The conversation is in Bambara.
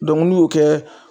n'u y'o kɛ